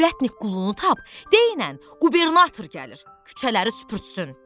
Ürətnik qulunu tap, deynən qubernator gəlir küçələri süpürtsün.